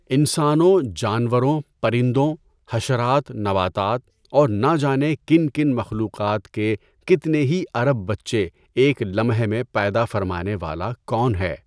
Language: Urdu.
انسانوں، جانوروں، پرندوں، حشرات، نباتات اور نہ جانے کن کن مخلوقات کے کتنے ہی ارب بچے ایک لمحے میں پیدا فرمانے والا کون ہے؟